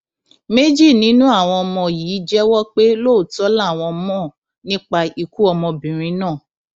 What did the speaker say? méjì nínú àwọn ọmọ yìí jẹwọ pé lóòótọ làwọn mọ nípa ikú ọmọbìnrin náà